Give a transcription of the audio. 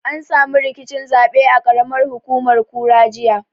An samu rikicin zaɓe a ƙaramar hukumar kura, jiya.